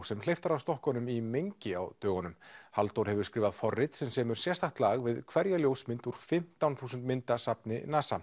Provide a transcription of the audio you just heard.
sem hleypt var af stokkunum í mengi á dögunum Halldór hefur skrifað forrit sem semur sérstakt lag við hverja ljósmynd úr fimmtán þúsund myndasafni NASA